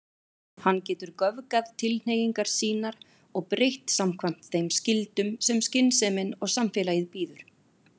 Hann getur göfgað tilhneigingar sínar og breytt samkvæmt þeim skyldum sem skynsemin og samfélagið býður.